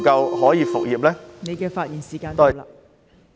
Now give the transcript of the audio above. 郭偉强議員，你的發言時限到了。